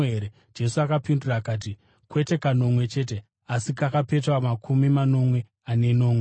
Jesu akapindura akati, “Kwete kanomwe chete, asi kakapetwa makumi manomwe ane nomwe.